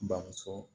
Bamuso